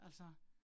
Altså